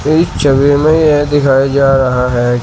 इस छवि में यह दिखाई जा रहा है।